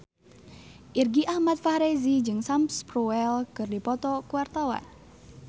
Irgi Ahmad Fahrezi jeung Sam Spruell keur dipoto ku wartawan